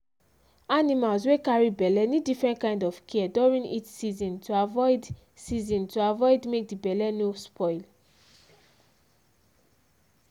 animals wey carry belle need different kind of care during heat season to avoid season to avoid make d belle no spoil